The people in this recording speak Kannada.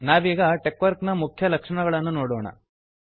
ನಾವೀಗ ಟೆಕ್ವರ್ಕ್ ನ ಮುಖ್ಯ ಲಕ್ಷಣಗಳನ್ನು ನೋಡೋಣ